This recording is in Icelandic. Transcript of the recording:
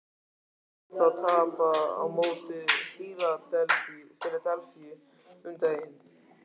Við sáum þá tapa á móti Fíladelfíu um daginn.